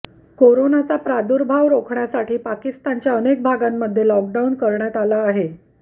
कोरोनाचा प्रादूर्भाव रोखण्यासाठी पाकिस्तानच्या अनेक भागांमध्ये लॉकडाऊन करण्यात आला आहे